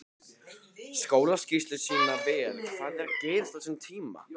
Skólaskýrslur sýna vel hvað er að gerast á þessum tíma.